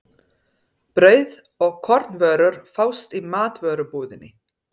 Brauð og kornvörur fást í matvörubúðinni.